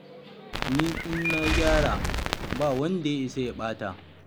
Ni in na gyara ba wanda ya isa ya ɓata.